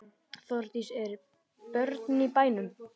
Þórdís: Eru börnin í bænum?